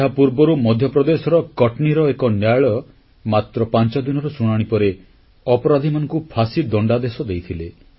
ଏହାପୂର୍ବରୁ ମଧ୍ୟପ୍ରଦେଶର କଟନୀର ଏକ ନ୍ୟାୟାଳୟ ମାତ୍ର ପାଂଚଦିନର ଶୁଣାଣି ପରେ ଅପରାଧୀମାନଙ୍କୁ ଫାଶୀ ଦଣ୍ଡାଦେଶ ଦେଇଥିଲେ